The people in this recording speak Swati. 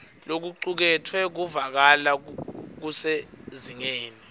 lokucuketfwe kuvakala kusezingeni